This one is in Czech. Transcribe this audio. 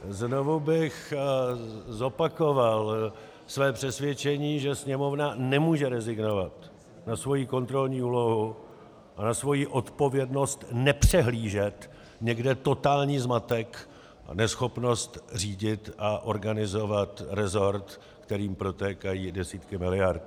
Znovu bych zopakoval své přesvědčení, že Sněmovna nemůže rezignovat na svoji kontrolní úlohu a na svoji odpovědnost nepřehlížet někde totální zmatek a neschopnost řídit a organizovat resort, kterým protékají desítky miliard.